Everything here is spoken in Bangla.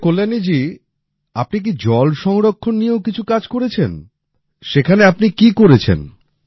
আচ্ছা কল্যাণী জী আপনি কি জলসংরক্ষণ নিয়েও কিছু কাজ করেছেন সেখানে আপনি কি করেছেন